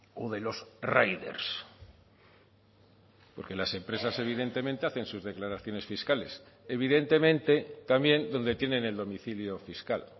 o de los riders porque las empresas evidentemente hacen sus declaraciones fiscales evidentemente también donde tienen el domicilio fiscal